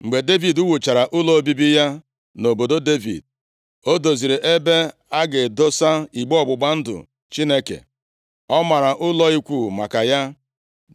Mgbe Devid wuchara ụlọ obibi ya nʼobodo Devid, o doziri ebe a ga-adọsa igbe ọgbụgba ndụ Chineke. Ọ mara ụlọ ikwu maka ya.